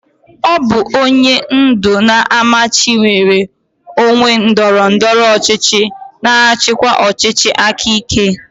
Ọ bụ onye ndu na-amachi nnwere onwe ndọrọ ndọrọ ọchịchị na-achịkwa ọchịchị aka ike.